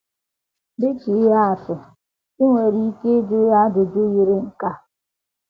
Dị ka ihe atụ, i nwere ike ịjụ ya ajụjụ yiri nke a: